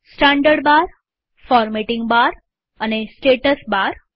standard bar formatting bar અને status બાર